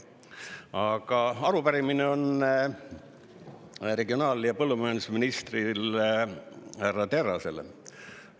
Aga arupärimine on regionaal- ja põllumajandusminister härra Terrasele.